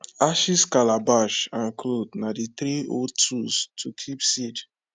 ashes calabash and cloth na the three old tools to keep seed